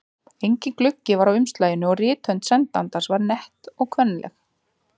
Enginn gluggi var á umslaginu og rithönd sendandans var nett og kvenleg.